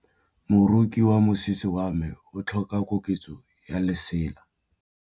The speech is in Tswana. Moroki wa mosese wa me o tlhoka koketsô ya lesela.